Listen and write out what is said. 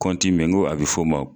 Kɔnti min be ye n ko a be f'o ma